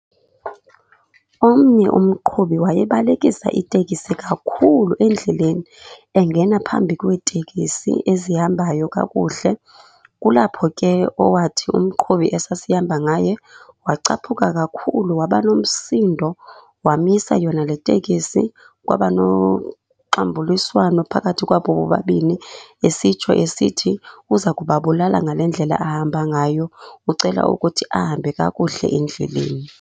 Omnye umqhubi wayebalekisa itekisi kakhulu endleleni, engena phambi kweetekisi ezihambayo kakuhle. Kulapho ke owathi umqhubi esasihamba ngaye wacaphuka kakhulu, waba nomsindo. Wamisa yona le tekisi kwaba noxambuliswano phakathi kwabo bobabini. Esitsho esithi uza kubabulala ngale ndlela ahamba ngayo, ucela ukuthi ahambe kakuhle endleleni.